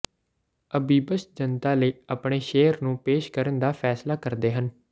ਅਬੀਬਸ ਜਨਤਾ ਲਈ ਆਪਣੇ ਸ਼ੇਰ ਨੂੰ ਪੇਸ਼ ਕਰਨ ਦਾ ਫੈਸਲਾ ਕਰਦੇ ਹਨ